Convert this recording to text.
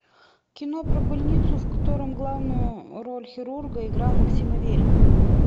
кино про больницу в котором главную роль хирурга играл максим аверин